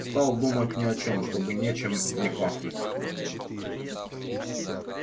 стал думать ни о чем чтобы ничем не пахнуть